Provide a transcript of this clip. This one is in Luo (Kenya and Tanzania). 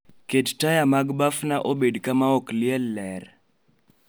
Ket taya mag bafna obed ka ma ok liel ler